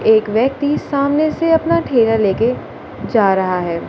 एक व्यक्ति सामने से अपना ठेला लेके जा रहा है।